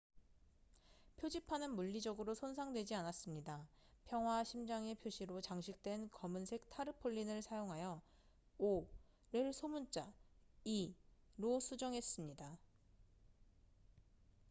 "표지판은 물리적으로 손상되지 않았습니다. 평화와 심장의 표시로 장식된 검은색 타르폴린을 사용하여 "o""를 소문자 "e""로 수정했습니다.